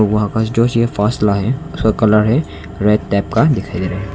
उसका colour red type का दिखाई दे रहा है।